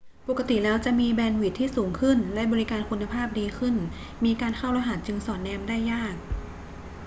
ปกติแล้วจะมีแบนด์วิดท์ที่สูงขึ้นและบริการคุณภาพดีขึ้น มีการเข้ารหัสจึงสอดแนมได้ยาก